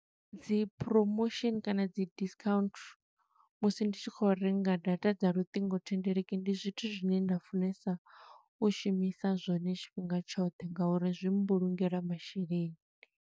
Dzi promotion kana dzi discount musi ndi tshi khou renga data dza luṱingothendeleki, ndi zwithu zwine nda funesa u shumisa zwone tshifhinga tshoṱhe nga uri zwi mbulungela masheleni.